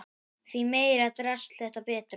Því meira drasl þess betra.